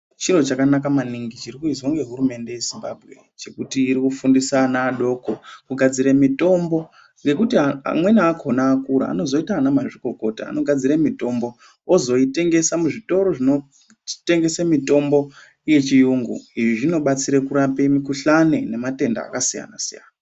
Chiro chakanaka maningi chirikuizwa ngehurumende yezimbambwe chekuti irikufundisa ana adoko kugadzira mitombo. Nekuti amweni akona akura anozoita ana mazvikokota anogadzire mitombo ozvoitengesa muzvitoro zvinotengese mitombo yechiyungu. Izvi zvinobatsire kurape mikuhlani nematenda akasiyana-siyana.